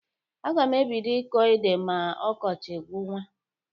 Aga m ebido ịkọ ede ma ọkọchị gwụwa.